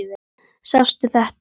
Sástu þetta?